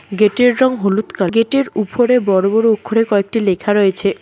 Gate -এর রং হলুদ কা গেট -এর উপরে বড় বড় অক্ষরে কয়েকটি লেখা রয়েছে।